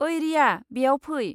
ओइ रिया, बेयाव फै।